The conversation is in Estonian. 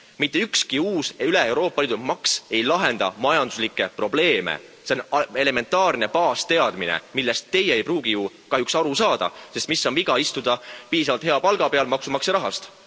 Mitte ükski uus üleeuroopaline maks ei lahenda majanduslikke probleeme, see on elementaarne baasteadmine, millest teie ei pruugi ju kahjuks aru saada, sest mis on viga istuda piisavalt hea palga peal maksumaksja rahast?